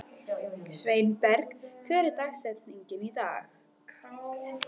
Sveinberg, hver er dagsetningin í dag?